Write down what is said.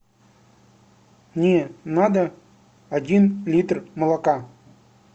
мне надо один литр молока